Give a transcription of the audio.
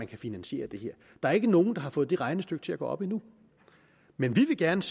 kan finansiere det her der er ikke nogen der har fået det regnestykke til at gå op endnu men vi vil gerne